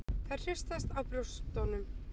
Þær hristast á brjóstunum.